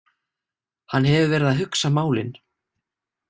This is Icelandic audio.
Hann hefur verið að hugsa málin.